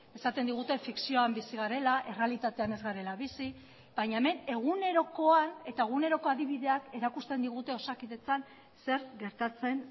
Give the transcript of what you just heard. esaten digute fikzioan bizi garela errealitatean ez garela bizi baina hemen egunerokoan eta eguneroko adibideak erakusten digute osakidetzan zer gertatzen